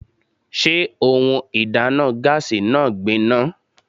Sé ohun ìdáná gáásì náà gbin ná?